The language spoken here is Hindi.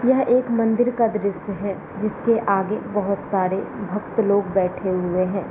यह एक मंदिर का दृश्य है जिसके आगे बहुत सारे भक्त लोग बैठे हुए हैं।